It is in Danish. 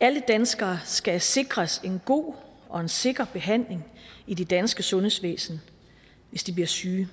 alle danskere skal sikres en god og sikker behandling i det danske sundhedsvæsen hvis de bliver syge